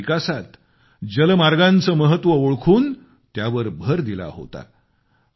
देशाच्या विकासात जलमार्गांचं महत्व ओळखून त्यावर भर दिला होता